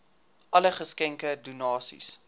alle geskenke donasies